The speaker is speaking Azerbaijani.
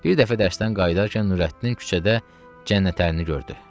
Bir dəfə dərsdən qayıdarkən Nurəddin küçədə Cənnətəlini gördü.